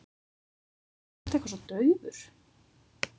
Þú ert eitthvað svo daufur.